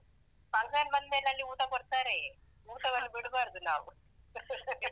Function ಬಂದ್ಮೇಲೆ ಅಲ್ಲಿ ಊಟ ಕೊಡ್ತಾರೆಯೇ. ಊಟವನ್ನು ಬಿಡ್ಬಾರ್ದು ನಾವು